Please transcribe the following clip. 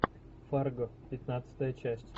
фарго пятнадцатая часть